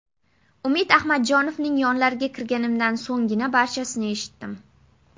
Umid Ahmadjonovning yonlariga kirganimdan so‘nggina barchasini eshitdim.